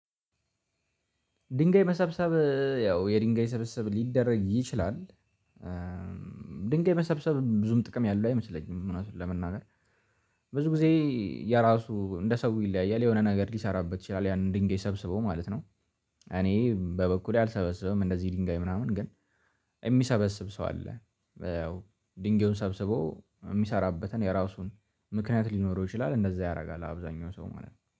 ድንጋይ መሰብሰብ ያው የድንጋይ ሰብስብ ሊደረግ ይችላል። ድንጋይ የመሰብሰብ ብዙም ጥቅም ያለው አይመስለኝም እውነቱን ለመናገር። ብዙ ጊዜ የራሱ እንደ ሰው ይለያያል የሆነ ነገር ሊሰራበት ይችላል ያንን ድንጋይ ሰብስቦ ማለት ነው። እኔ በበኩሌ አልሰበሰበም እንደዚህ ድንጋይ ምናምን ግን የሚሰበስብ ሰው አለ። ያው ድንጋዩን ሰብስቦ የሚሰራበትን የራሱን ምክንያት ሊኖረው ይችላል እንደዛ ያደርጋል አብዛኛው ሰው ማለት ነው